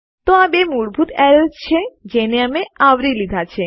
તો આ બે મૂળભૂત એરર્સ છે જેને અમે આવરી લીધા છે